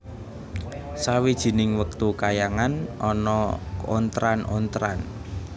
Sawijining wektu kayangan ana ontran ontran